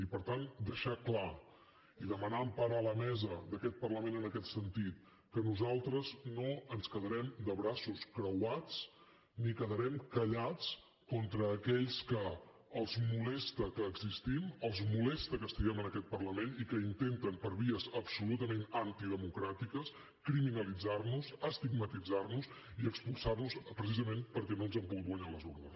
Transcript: i per tant deixar ho clar i demanar empara a la mesa d’aquest parlament en aquest sentit que nosaltres no ens quedarem de braços creuats ni quedarem callats contra aquells que els molesta que existim els molesta que estiguem en aquest parlament i que intenten per vies absolutament antidemocràtiques criminalitzar nos estigmatitzar nos i expulsar nos precisament perquè no ens han pogut guanyar a les urnes